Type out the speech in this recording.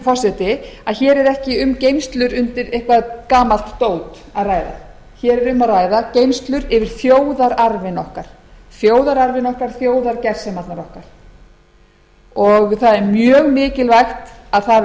forseti að hér er ekki um geymslur undir eitthvert gamalt dót að ræða hér er um að ræða geymslur yfir þjóðararfinn okkar þjóðargersemarnar okkar það er mjög mikilvægt að það